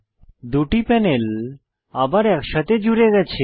দুটি প্যানেল আবার একসাথে জুড়ে গেছে